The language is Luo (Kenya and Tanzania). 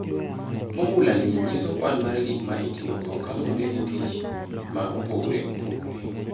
"Fomula ni nyiso kwan mar gik ma itiyogo kaluwore gi tich ma opogore opogore."